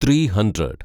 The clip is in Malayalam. three hundred